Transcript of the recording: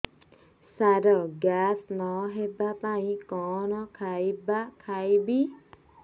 ସାର gas ନ ହେବା ପାଇଁ କଣ ଖାଇବା ଖାଇବି